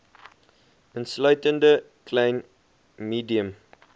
insluitende klein medium